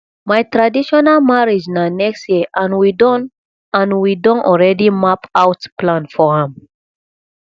my traditional marriage na next year and we don and we don already map out plan for am